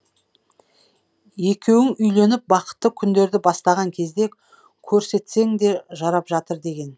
екеуің үйленіп бақытты күндерді бастаған кезде көрсетсең де жарап жатыр деген